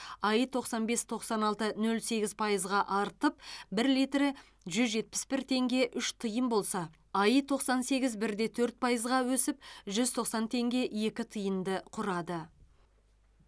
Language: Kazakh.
аи тоқсан бес тоқсан алты нөлде сегіз пайызға артып бір литрі жүз жетпіс бір теңге үш тиын болса аи тоқсан сегіз бірде төрт пайызға өсіп жүз тоқсан теңге екі тиынды құрады